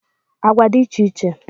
Agwa dị iche iche